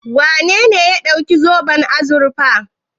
Wane ne ya ɗauki zoben azurfa?